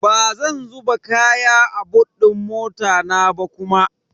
Bazan zuba kaya a bot din mota na ba kuma.